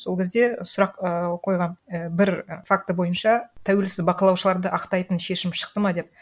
сол кезде сұрақ ііі қойғанмын і бір факті бойынша тәуелсіз бақылаушыларды ақтайтын шешім шықты ма деп